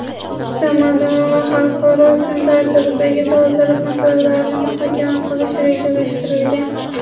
ikki tomonlama va xalqaro kun tartibidagi dolzarb masalalarni muhokama qilish rejalashtirilgan.